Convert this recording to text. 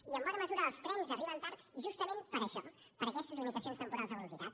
i en bona mesura els trens arriben tard justament per això per aquestes limitacions temporals de velocitat